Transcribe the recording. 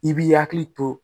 I b'i hakili to